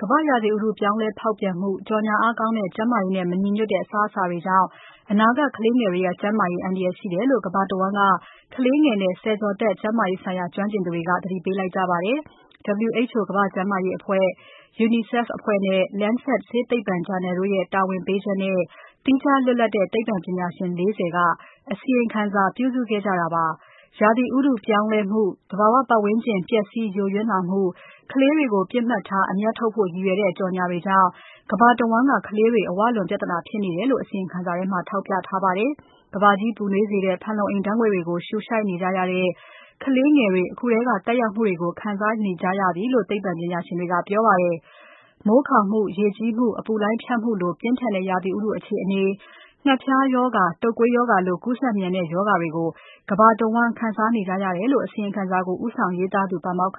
ကမ္ဘာ့ရာသီဥတု ပြောင်းလဲဖောက်ပြန်မှု၊ ကြော်ငြာအားကောင်းတဲ့ ကျန်းမာရေးနဲ့ မညီညွတ်တဲ့ အစားအသောက်တွေကြောင့် အနာဂတ်ကလေးငယ်တွေရဲ့ ကျန်းမာရေး အန္တရာယ်ရှိတယ်လို့ ကမ္ဘာတဝန်းက ကလေးငယ်နဲ့ ဆယ်ကျော်သက် ကျန်းမာရေးဆိုင်ရာ ကျွမ်းကျင်သူတွေက သတိပေးလိုက်ကြပါတယ်။ WHO ကမ္ဘာ့ကျန်းမာရေးအဖွဲ့၊ UNICEF အဖွဲ့နဲ့ Lancet ဆေးသိပ္ပံဂျာနယ်တို့ရဲ တာဝန်ပေးချက်နဲ့ သီးခြားလွတ်လပ်တဲ့ သိပ္ပံပညာရှင် ၄၀ က အစီရင်ခံစာ ပြုစုခဲ့ကြတာပါ။ ရာသီဥတုပြောင်းလဲမှု၊ သဘာဝပတ်ဝန်းကျင် ပျက်စီးယိုယွင်းလာမှု၊ ကလေးတွေကို ပစ်မှတ်ထား အမြတ်ထုတ်ဖို့ရည်ရွယ်တဲ့ ကြော်ငြာတွေကြောင့် ကမ္ဘာတဝန်းက ကလေးတွေ အဝလွန်ပြဿနာဖြစ်နေတယ်လို့ အစီရင်ခံစာထဲမှာ ထောက်ပြထားပါတယ်။ ကမ္ဘာကြီးပူနွေးစေတဲ့ ဖန်လုံအိမ်ဓါတ်ငွေ့တွေကို ရှူရှိုက်နေကြရတဲ့ ကလေးငယ်တွေ အခုထဲကသက်ရောက်မှုတွေကို ခံစားနေကြရပြီလို့ သိပ္ပံပညာရှင်တွေက ပြောပါတယ်။ မိုးခေါင်မှု၊ ရေကြီးမှု၊ အပူလှိုင်းဖြတ်မှုလို ပြင်းထန်တဲ့ရာသီဥတုအခြေအနေ၊ ငှက်ဖျားရောဂါ၊ တုပ်ကွေးရောဂါလို ကူးစက်မြန်တဲ့ရောဂါတွေကို ကမ္ဘာတဝန်းခံစားနေကြရတယ်လို့ အစီရင်ခံစာကို ဦးဆောင်ရေးသားသူ ပါမောက္ခ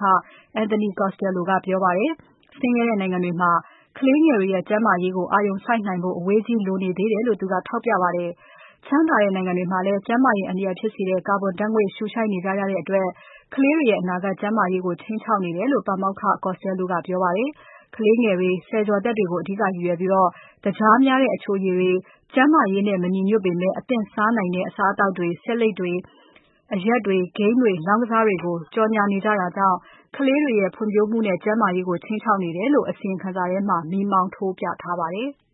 Anthony Costello က ပြောပါတယ်။ ဆင်းရဲတဲ့နိုင်ငံတွေမှာ ကလေးငယ်တွေရဲ့ ကျန်းမာရေးကို အာရုံစိုက်နိုင်ဖို့ အဝေးကြီးလိုသေးတယ်လို့ သူကထောက်ပြပါတယ်။ ချမ်းသာတဲ့နိုင်ငံတွေမှာလည်း ကျန်းမာရေး အန္တရာယ်ဖြစ်စေတဲ့ ကာဗွန်ဓါတ်ငွေ့တွေ ရှုရှိုက်နေကြရတဲ့အတွက် ကလေးတွေရဲ့ အနာဂါကျန်းမာရေးကို ခြိမ်းခြောက်နေတယ်လို့ ပါမောက္ခ Costello ကပြောကြားခဲ့ပါတယ်။ ကလေးငယ်တွေ ဆယ်ကျော်သက်တွေကို အဓိကရည်ရွယ်ပြီး သကြားများတဲ့ အချိုရည်တွေ၊ အသင့်စားနိုင်တဲ့ အစားအသောက်တွေ၊ ဆေးလိပ်တွေ၊ အရက်တွေ၊ ဂိမ်းတွေ၊ လောင်းကစားတွေကို ကြော်ငြာနေကြတာကြောင့် ကလေးတွေရဲ့ ဖွံ့ဖြိုးမှုနဲ့ ကျန်းမာရေးကို ခြိမ်းခြောက်နေတယ်လို့ အစီရင်ခံစာထဲမှာ မီးမောင်းထိုးပြထားပါတယ်။